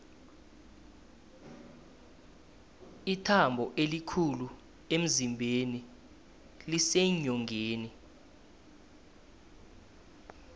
ithambo elikhulu emzimbeni liseenyongeni